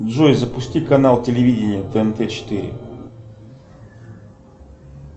джой запусти канал телевидения тнт четыре